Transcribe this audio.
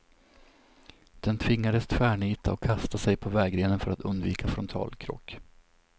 Den tvingades tvärnita och kasta sig in på vägrenen för att undvika frontalkrock.